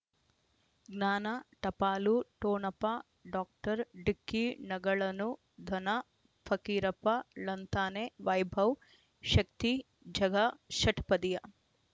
ಜ್ಞಾನ ಟಪಾಲು ಟೋಣಪ ಡಾಕ್ಟರ್ ಢಿಕ್ಕಿ ಣಗಳನು ಧನ ಫಕೀರಪ್ಪ ಳಂತಾನೆ ವೈಭವ್ ಶಕ್ತಿ ಝಗಾ ಷಟ್ಪದಿಯ